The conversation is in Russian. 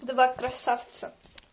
два красавца